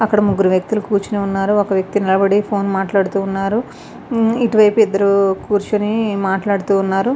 అక్కడ ముగ్గురు వ్యక్తిలు కూర్చుని ఉన్నారు ఒక వ్యక్తి నిలబడి ఫోన్ మాట్లాడుతు ఉన్నారు ఇటువైపు ఇద్దరు కూర్చుని మాట్లాడుతూ ఉన్నారు.